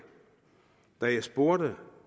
da jeg spurgte